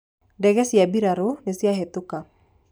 ndege cia mbirarũ nĩciahĩtũka